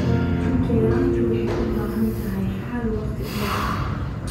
Cunto yaraantu waxay u baahan tahay xal waqti dheer ah.